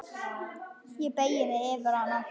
Ég beygi mig yfir hana.